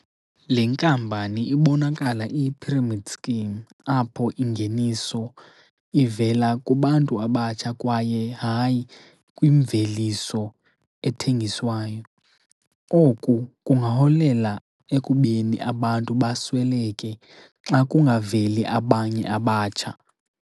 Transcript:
Le nkampani ibonakala iyi-pyramid scheme apho ingeniso ivela kubantu abatsha kwaye, hayi, kwimveliso ethengiswayo. Oku kungaholela ekubeni abantu basweleke xa kungaveli abanye abatsha.